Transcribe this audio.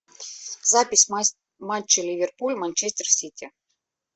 запись матча ливерпуль манчестер сити